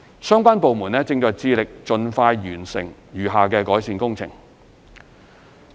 相關部門正致力盡快完成餘下改善工程。